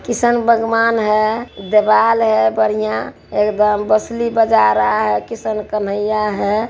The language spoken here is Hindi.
किसान भगवान है दीवाल है बढ़ियां एगदम बाशली बजा रहा है किशन कन्हैया है|